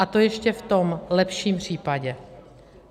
A to ještě v tom lepším případě.